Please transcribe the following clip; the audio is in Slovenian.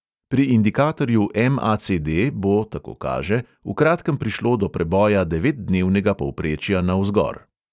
Pri indikatorju MACD bo, tako kaže, v kratkem prišlo do preboja devetdnevnega povprečja navzgor.